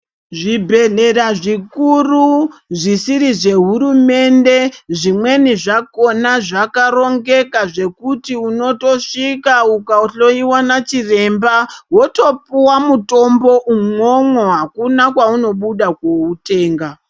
Zvibhedhlera zvikuru zvisiri zvehurumende zvimweni zvakona zvakarongeka zvekuti unotosvika ukahloyiwa nachiremba wotopuwa mutombo umwomwo hakuna kwaunobuda kuoutenga.